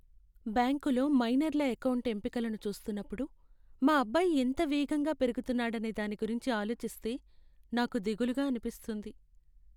బ్యాంకులో మైనర్ల ఎకౌంటు ఎంపికలను చూస్తున్నప్పుడు మా అబ్బాయి ఎంత వేగంగా పెరుగుతున్నాడనే దాని గురించి ఆలోచిస్తే నాకు దిగులుగా అనిపిస్తుంది.